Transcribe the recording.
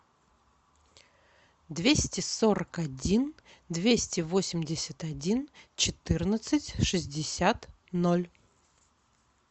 двести сорок один двести восемьдесят один четырнадцать шестьдесят ноль